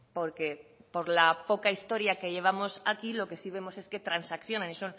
porque por la poca historia que llevamos aquí lo que sí vemos es que transaccionan y